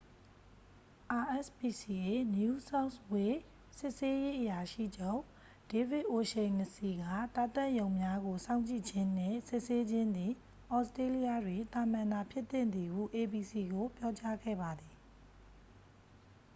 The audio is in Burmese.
rspca new south wales စစ်ဆေးရေးအရာရှိချုပ် ဒေးဗစ်အိုရှိန်နစီစ် က သားသတ်ရုံများကို စောင့်ကြည့်ခြင်းနှင့် စုံစမ်းစစ်ဆေးခြင်းသည် သြစတေးလျတွင် သာမန်သာဖြစ်သင့်သည်ဟု abc ကို ပြောကြားခဲ့ပါသည်